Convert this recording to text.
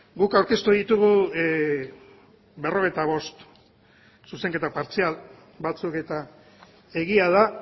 guk aurkeztu ditugu berrogeita bost zuzenketa partzial batzuk eta egia da